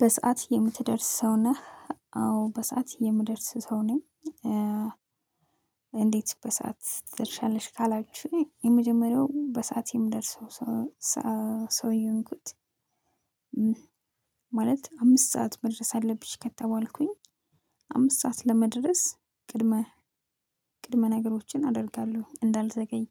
በሰአት የምትደርስ ሰው ነህ አዎ በሰአት የምደርስ ሰው ነኝ። እንዴት በሰአት ትደርሻለሽ ካላችሁኝ የመጀመሪያው በሰአቴ ምደርሰው። ሰው ሰው የወንኩት። ማለት አምስት ሰዓት መድረስ አለብሽ ከተባልኩኝ። አምስት ሰዓት ለመድረስ ቅድመ ቅድመ ነገሮችን አደርጋለሁ እንዳልዘገይ።